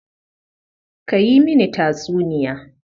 Ka yi mini tatsuniya.